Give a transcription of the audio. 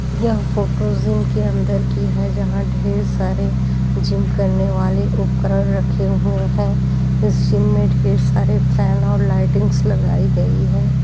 यह photo gym के अंदर की है जहां ढेर सारे जिम करने वाले उपकरण रखे हुए हैं। इस जिम में ढेर सारे फैन और लाइटिंग्स लगाई गई हैं।